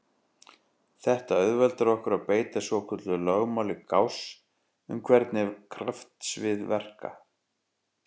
Þetta auðveldar okkur að beita svokölluðu lögmáli Gauss um hvernig kraftsvið verka.